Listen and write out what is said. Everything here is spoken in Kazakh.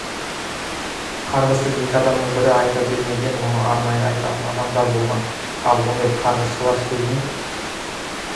қарғысты екі адамның бірі айта бермеген оны арнайы айтатын адамдар болған ал ондай қарғысшылар сөзін